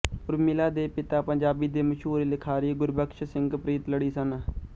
ਉਰਮਿਲਾ ਦੇ ਪਿਤਾ ਪੰਜਾਬੀ ਦੇ ਮਸ਼ਹੂਰ ਲਿਖਾਰੀ ਗੁਰਬਖਸ਼ ਸਿੰਘ ਪ੍ਰੀਤਲੜੀ ਸਨ